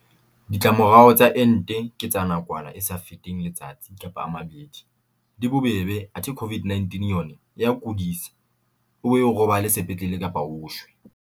Ditlamorao tsa ente ke tsa nakwana e sa feteng letsatsi kapa a mabedi, di bobebe athe COVID-19 yona e o kodisa o be o robale sepetlele kapa o shwe.